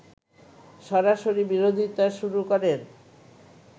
সরাসরি বিরোধিতা শুরু করেন